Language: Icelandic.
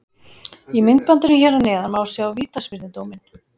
Í myndbandinu hér að neðan má sjá vítaspyrnudóminn.